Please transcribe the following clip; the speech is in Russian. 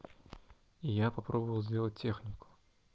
я попробовал сделать технику